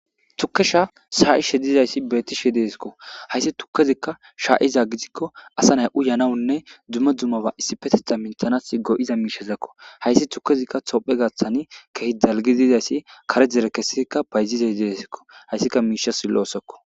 Tukkesha shayishe dizaysi beettizaysi deesko. Hayssi tukkezika shaa7iza gidikko asa nay uyanawunne dumma dummaba issippetetha minisanaw go7iza miishshazako. Haysi tukkezika tophphiya gaathan keehi dalgizi dizaysi kare dere bayzishe dizayssiko. Hayssi miishshas lo7sko.